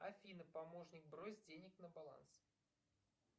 афина помощник брось денег на баланс